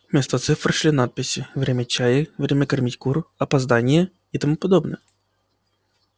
вместо цифр шли надписи время чая время кормить кур опоздание и тому подобное